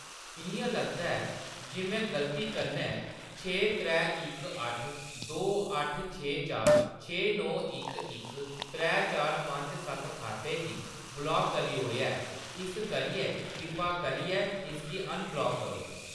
इ'यां लगदा ऐ जे मैं गलती कन्नै छे त्रै इक अट्ठ दो अट्ठ छे चार छे नौ इक इक त्रै चार पंज सत्त खाते गी ब्लाक करी ओड़ेआ ऐ, इस करियै कृपा करियै इसगी अनब्लाक करो।